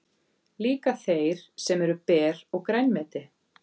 Líka þeir sem eru ber og grænmeti.